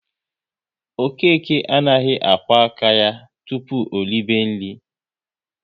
Okeke anaghị akwo aka ya tụpụ o ribe nri